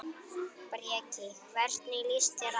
Breki: Hvernig líst þér á?